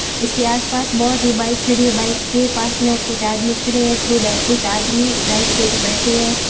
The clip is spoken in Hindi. इसके आस पास बहुत ही बाइक खड़ी है बाइक के पास में कुछ आदमी खड़े है कुद कुछ आदमी बाइक के ऊपर बैठे है।